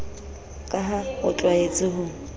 ka ha o tlwaetse ho